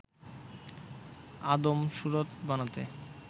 আদম সুরত বানাতে